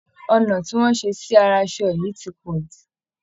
Ọnà tí wọ́n ṣe sí ara aṣọ yìí ti pọ̀ jù